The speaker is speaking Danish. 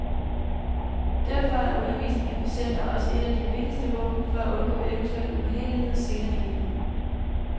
Derfor er undervisning af patienter også et af de vigtigste våben for at undgå eventuelle ubehageligheder senere i livet.